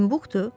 Timbuktu?